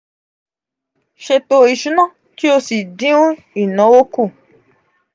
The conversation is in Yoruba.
ṣẹto isuna ki o si din inawo ku.